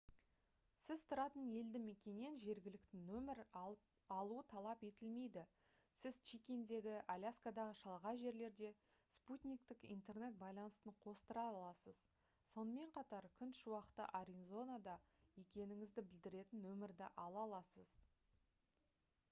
сіз тұратын елді мекеннен жергілікті нөмір алу талап етілмейді сіз чиккендегі аляскадағы шалғай жерлерде спутниктік интернет байланысын қостыра аласыз сонымен қатар күн шуақты аризонада екеніңізді білдіретін нөмірді ала аласыз